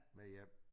Med hjem